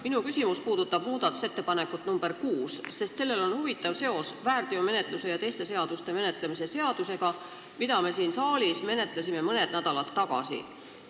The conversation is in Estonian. Minu küsimus puudutab muudatusettepanekut nr 6, sest sellel on huvitav seos väärteomenetluse seadustiku muutmise ja sellega seonduvalt teiste seaduste muutmise seadusega, mida me menetlesime siin saalis mõned nädalad tagasi.